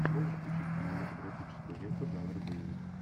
можешь включить кинематографическую ленту жанра боевик